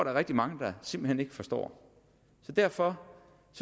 er rigtig mange der simpelt hen ikke forstår derfor